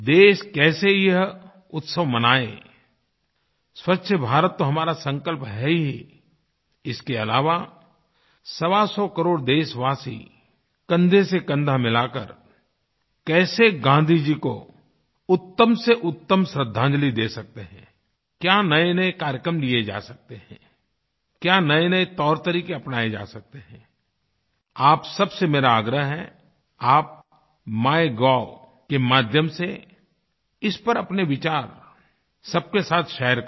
देश कैसे यह उत्सव मनाये स्वच्छ भारत तो हमारा संकल्प है ही इसके अलावा सवासौ करोड़ देशवासी कंधेसेकंधा मिलाकर कैसे गाँधी जी को उत्तमसेउत्तम श्रद्धांजलि दे सकते हैं क्या नयेनये कार्यक्रम किये जा सकते हैं क्या नयेनये तौरतरीक़े अपनाए जा सकते हैं आप सबसे मेरा आग्रह है आप MyGovके माध्यम से इस पर अपने विचार सबके साथ शेयर करें